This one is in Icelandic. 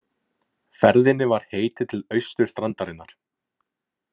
Ferðinni var heitið til austurstrandarinnar.